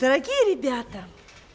дорогие ребята